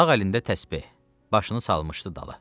Sağ əlində təsbeh, başına salmışdı dala.